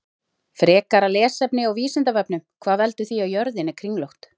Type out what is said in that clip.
Frekara lesefni á Vísindavefnum: Hvað veldur því að jörðin er kringlótt?